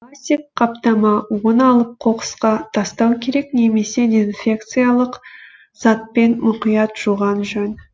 пластик қаптама оны алып қоқысқа тастау керек немесе дезинфекциялық затпен мұқият жуған жөн